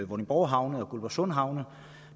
vordingborg havne og guldborgsund havne